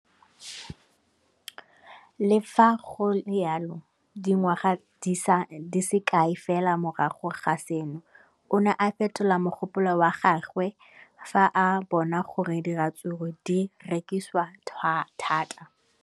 Le fa go le jalo, dingwaga di se kae fela morago ga seno, o ne a fetola mogopolo wa gagwe fa a bona gore diratsuru di rekisiwa thata.